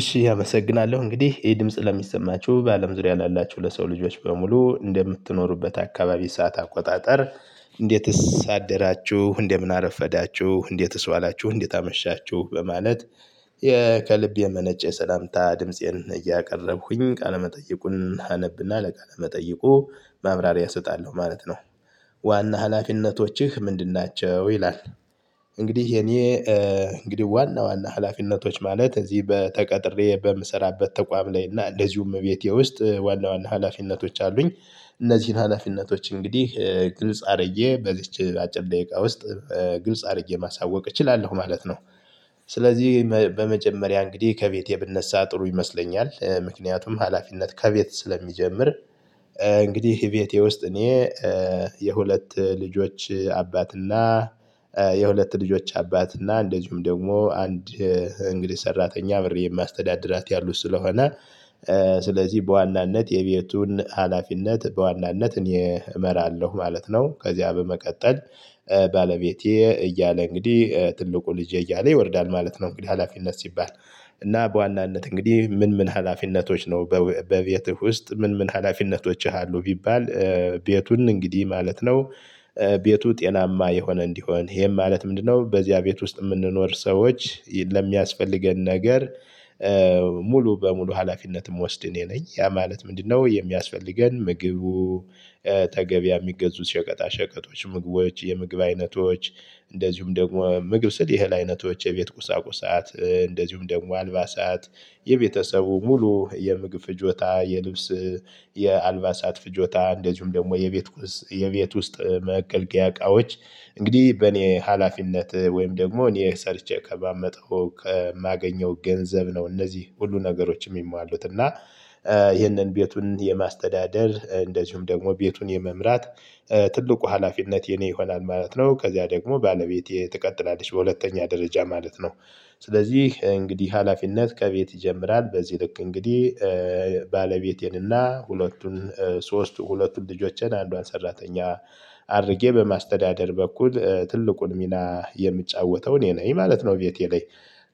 እሺ አመሰግናለሁ እንግዲህ ይሄ ድምጽ ለሚሰማችሁ በአለም ዙሪያ ላላችሁ ለሰው ልጆች በሙሉ እንደምትኖሩበት አካባቢ ሰዓት አቆጣጠር እንዴትስ አደራችሁ እንደምን አረፈዳችሁ እንዴትስ ዋላችሁ እንዴት አመሻችሁ በማለት ከልብ የመነጨ ሰላምታ ድምፄን እያቀረብኩኝ ቃለመጠየቁን አነብና ለቃለ መጠየቁ ማብራሪያ እሰጣለሁ ማለት ነው። ዋና ሀላፊነቶችህ ምንድን ናቸው? ይላል። እንግዲህ የኔ እንግዲህ ዋና ዋና ሀላፊነቶች ማለት እዚህ በ ተቀጥሬ በምሰራበት ተቋም ላይ እና እንደዚሁ እቤቴ ውስጥ ዋና ዋና ሀላፊነቶች አሉኝ። እነዚህን ሀላፊነቶች እንግዲህ ግልጽ አርጌ በዚች አጭር ደቂቃ ውስጥ ዋና ሀላፊነቶችህ ምንድን ናቸው? ይላል እንግዲህ የኔ እንግዲህ ዋና ዋና ሀላፊነቶች ማለት እዚህ በተቀጥሬ በምሰራበት ተቋም ላይ እና እንደዚሁ እመቤቴ ውስጥ ዋና ዋና ሀላፊነቶች አሉኝ። እነዚህን ሀላፊነቶች እንግዲህ ግልጽ አርዬ በዚች አጭር ደቂቃ ውስጥ ስለዚህ በመጀመሪያ እንግዲህ ከቤቴ ብነሳ ጥሩ ይመስለኛል። ምክንያቱም ሀላፊነት ከቤት ስለሚጀምር። እንግዲህ ቤቴ ውስጥ እኔ የሁለት ልጆች አባትና የሁለት ልጆች አባት እና እንደዚሁም ደግሞ አንድ እንግዲህ ሰራተኛ አብሬ የማስተዳድራት ያሉት ስለሆነ ስለዚህ በዋናነት የቤቱን ሀላፊነት በዋናነት እኔ እመራለሁ ማለት ነው። ከዚያ በመቀጠል ባለቤቴ እያለ እንግዲህ ትልቁ ልጄ እያለ ይወርዳል ማለት ነው። እንግዲህ ሀላፊነት ሲባል እና በዋናነት እንግዲህ ምን ምን ሀላፊነቶች ነው? በቤትህ ውስጥ ምን ምን ሀላፊነቶችህ አሉ ቢባል? ቤቱን እንግዲህ ማለት ነው። ቤቱ ጤናማ የሆነ እንዲሆን ይሄም ማለት ምንድነው? በዚያ ቤት ውስጥ የምንኖር ሰዎች ለሚያስፈልገን ነገር። ሙሉ በሙሉ ሀላፊነትም የምወስድ እኔ ነኝ። ያ ማለት ምንድነው? የሚያስፈልገን ምግቡ ተገቢ የሚገዙት ሸቀጣ ሸቀጦች ምግቦች የምግብ አይነቶች። እንደዚሁም ደግሞ ምግብ ስል የህል አይነቶች የቤት ቁሳቁሳት እንደዚሁም ደግሞ አልባሳት። የቤተሰቡ ሙሉ የምግብ ፍጆታ የልብስ የአልባሳት ፍጆታ እንደዚሁም ደግሞ የቤት የቤት ውስጥ መገልገያ እቃዎች። እንግዲህ በእኔ ሀላፊነት ወይም ደግሞ እኔ ሰርቼ ከማመጣው ከማገኘው ገንዘብ ነው። እነዚህ ሁሉ ነገሮች የሚሟሉት እና። ይህንን ቤቱን የማስተዳደር እንደዚሁም ደግሞ ቤቱን የመምራት ትልቁ ሀላፊነት የኔ ይሆናል ማለት ነው። ከዚያ ደግሞ ባለቤቴ ትቀጥላለች በሁለተኛ ደረጃ ማለት ነው። ስለዚህ እንግዲህ ሀላፊነት ከቤት ይጀምራል። በዚህ ልክ እንግዲህ ባለቤቴንና ሁለቱን ሶስቱ ሁለቱን ልጆችን አንዷን ሰራተኛ አድርጌ በማስተዳደር በኩል ትልቁን ሚና የምጫወተው እኔ ነኝ ማለት ነው። ቤቴ ላይ።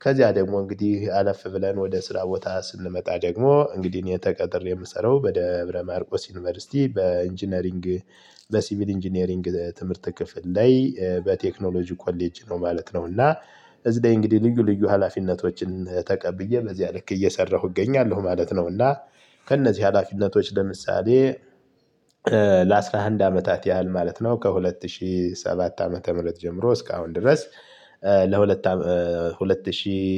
ከዚያ ደግሞ እንግዲህ አለፍ ብለን ወደ ስራ ቦታ ስንመጣ ደግሞ እንግዲህ እኔ ተቀጥሬ የምሰራው በደብረ ማርቆስ ዩኒቨርሲቲ በኢንጂነሪንግ በሲቪል ኢንጂነሪንግ ትምህርት ክፍል ላይ በቴክኖሎጂ ኮሌጅ ነው ማለት ነው። እና እዚህ ደግሞ እንግዲህ ልዩ ልዩ ሀላፊነቶችን ተቀብዬ በዚያ ልክ እየሰራሁ እገኛለሁ ማለት ነው። እና ከእነዚህ ሀላፊነቶች ለምሳሌ ለአሥራ አንድ አመታት ያህል ማለት ነው ከሁለት ሺህ ሰባት ዓመተ ምህረት ጀምሮ እስካሁን ድረስ። ለሁለት ሁለት ሺህ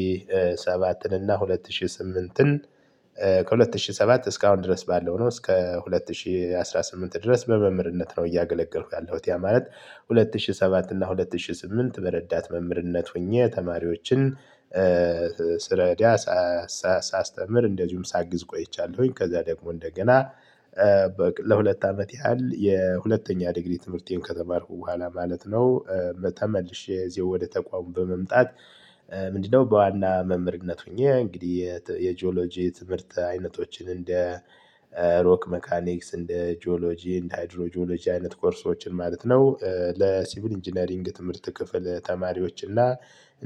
ሰባትን እና ሁለት ሺህ ስምንትን ከሁለት ሺህ ሰባት እስካሁን ድረስ ባለው ነው። እስከ ሁለት ሺህ አስራ ስምንት ድረስ በመምህርነት ነው። እያገለገልኩ ያለሁት ያ ማለት ሁለት ሺህ ሰባት እና ሁለት ሺህ ስምንት በረዳት መምህርነት ሆኜ ተማሪዎችን ስረዳ ሳስተምር እንደዚሁም ሳግዝ ቆይቻለሁኝ። ከዛ ደግሞ እንደገና በቃ ለሁለት አመት ያህል የሁለተኛ ዲግሪ ትምህርቴን ከተማርኩ በኋላ ማለት ነው። ተመልሼ እዚሁ ወደ ተቋሙ በመምጣት። ምንድነው? በዋና መምህርነት ሆኜ እንግዲህ የጂኦሎጂ ትምህርት አይነቶችን እንደ ሮክ ሜካኒክስ እንደ ጂኦሎጂ እንደ ሃይድሮ ጂኦሎጂ አይነት ኮርሶችን ማለት ነው። ለሲቪል ኢንጂነሪንግ ትምህርት ክፍል ተማሪዎች እና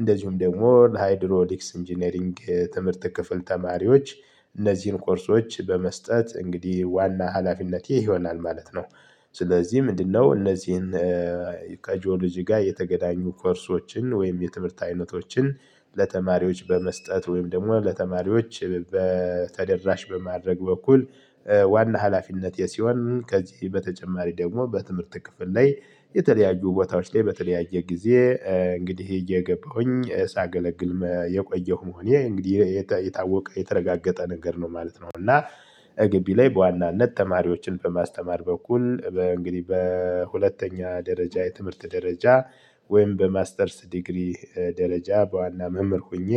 እንደዚሁም ደግሞ ለሃይድሮዲክስ ኢንጂነሪንግ ትምህርት ክፍል ተማሪዎች። እነዚህን ኮርሶች በመስጠት እንግዲህ ዋና ሀላፊነቴ ይሆናል ማለት ነው። ስለዚህ ምንድነው? እነዚህን ከጂኦሎጂ ጋር የተገናኙ ኮርሶችን ወይም የትምህርት አይነቶችን ለተማሪዎች በመስጠት ወይም ደግሞ ለተማሪዎች ተደራሽ በማድረግ በኩል። ዋና ሀላፊነት ይሄ ሲሆን ከዚህ በተጨማሪ ደግሞ በትምህርት ክፍል ላይ የተለያዩ ቦታዎች ላይ በተለያየ ጊዜ እንግዲህ እየገባሁኝ ሳገለግል የቆየሁ መሆን ይሄ እንግዲህ የታወቀ የተረጋገጠ ነገር ነው ማለት ነው። እና ግቢ ላይ በዋናነት ተማሪዎችን በማስተማር በኩል እንግዲህ በሁለተኛ ደረጃ የትምህርት ደረጃ። ወይም በማስተርስ ዲግሪ ደረጃ በዋና መምህር ሆኜ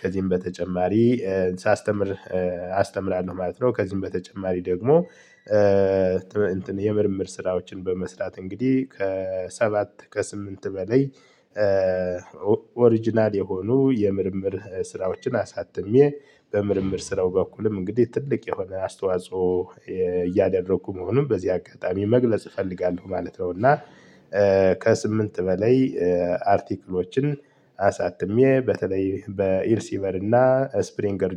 ከዚህም በተጨማሪ ሳስተምር አስተምራለሁ ማለት ነው። ከዚህም በተጨማሪ ደግሞ የምርምር ስራዎችን በመስራት እንግዲህ ከሰባት ከስምንት በላይ። ኦሪጅናል የሆኑ የምርምር ስራዎችን አሳትሜ በምርምር ስራው በኩልም እንግዲህ ትልቅ የሆነ አስተዋጽኦ እያደረኩ መሆኑን በዚህ አጋጣሚ መግለጽ እፈልጋለሁ ማለት ነው። እና ከስምንት በላይ አርቲክሎችን አሳትሜ በተለይ በኢርሲበር እና ስፕሪንገር